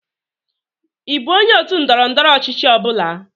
Ị bụ onye otu ndọrọ ndọrọ ọchịchị ọ bụla?